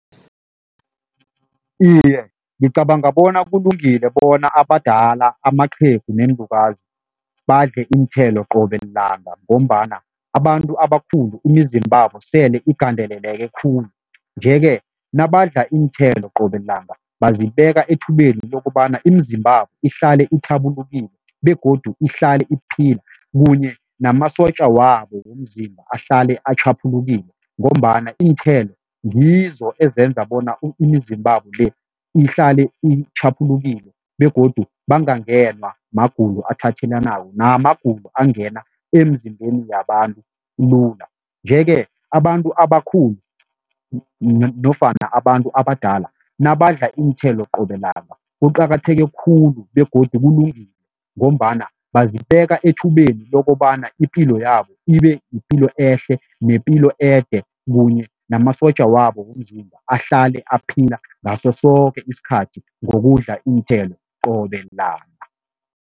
Iye, ngicabanga bona kulungile bona abadala, amaqhegu neenlukazi badle iinthelo qobe lilanga ngombana abantu abakhulu imizimbabo sele igandeleleke khulu nje-ke, nabadla iinthelo qobe lilanga bazibeka ethubeni lokobana imizimbabo ihlale ithabulukile begodu ihlale iphila kunye namasotja wabo womzimba ahlale atjhaphulukile ngombana iinthelo ngizo ezenza bona imizimbabo-le ihlale itjhaphulukile begodu bangangenwa magulo athelelanako namagulo angena emzimbeni yabantu lula. Nje-ke, abantu abakhulu nofana abantu abadala nabadla iinthelo qobe lilanga kuqakatheke khulu begodu kulungile ngombana bazibeka ethubeni lokobana ipilo yabo ibe yipilo ehle, nepilo ede kunye namasotja wabo womzimba ahlale aphila ngaso soke isikhathi ngokudla iinthelo qobe langa.